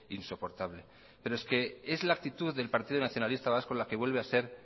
insoportable pero es que es la actitud del partido nacionalista vasco la que vuelve a ser